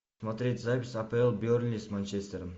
смотреть запись апл бернли с манчестером